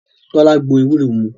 Tọ́lá gbo ewúro mu